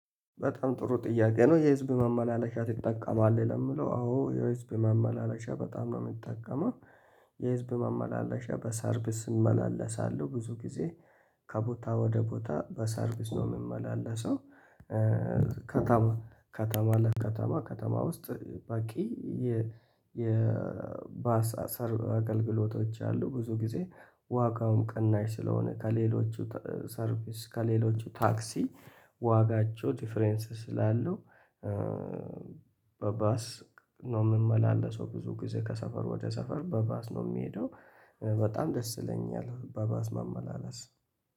በጣም ጥሩ ጥያቄ ነው የህዝብ መመላለሻ ትጠቀማለህ? ለምለው አዎ የህዝብ መመላለሻ በጣም ነው የምጠቀመው። የህዝብ መመላለሻ በሰርቪስ እመላለሳለሁ ብዙ ጊዜ። ከቦታ ወደ ቦታ በሰርቪስ ነው የምመላለሰው። ከተማ ከተማ ለከተማ ከተማ ውስጥ ባቂ የ የባሳ ሰር አገልግሎቶች አሉ ብዙ ጊዜ ዋጋውም ቅናሽ ስለሆነ ከሌሎቹ ሰርቭስ ከሌሎቹ ታክሲ ዋጋቸው ዲፈረንስ ስላለው። በባስ ነው የምመላለሰው። ብዙ ጊዜ ከሰፈር ወደ ሰፈር በባስ ነው የሚሄደው። በጣም ደስ ይለኛል በባስ መመላለስ